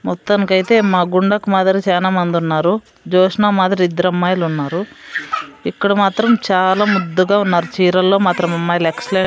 మొత్తానికి అయితే మా గుండకు మాదిరి చానా మంది ఉన్నారు జోష్నా మాదిరి ఇద్దరమ్మాయిలు ఉన్నారు ఇక్కడ మాత్రం చాలా ముద్దుగా ఉన్నారు చీరల్లో మాత్రం అమ్మాయిలు ఎక్స్లెంట్ .